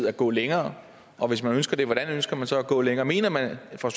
at gå længere og hvis man ønsker det hvordan ønsker man så at gå længere mener man fra